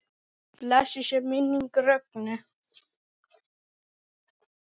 Blessuð sé minning Rögnu.